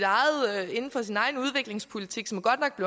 egen udviklingspolitik som godt nok